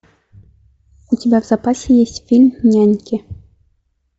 у тебя в запасе есть фильм няньки